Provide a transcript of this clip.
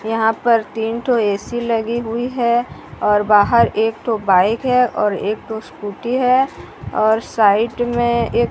यहां पर तीन टू ए_सी लगी हुई है और बाहर एक टू बाइक है और एक टू स्कूटी है और साइड में एक--